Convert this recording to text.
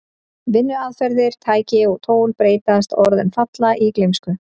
Vinnuaðferðir, tæki og tól breytast og orðin falla í gleymsku.